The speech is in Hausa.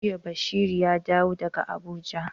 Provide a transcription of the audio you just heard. Jiya Bashari ya dawo daga Abuja.